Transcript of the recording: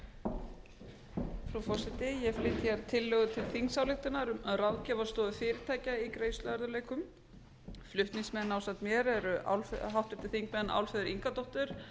ég flyt hér tillögu til þingsályktunar um ráðgjafarstofu fyrirtækja í greiðsluörðugleikum flutningsmenn ásamt mér eru háttvirtir þingmenn álfheiður ingadóttir